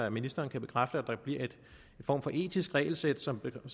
at ministeren kan bekræfte at der bliver en form for etisk regelsæt som